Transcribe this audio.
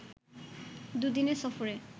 দুদিনের সফরে